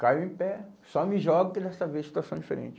Caio em pé, só me jogo que dessa vez situação diferente.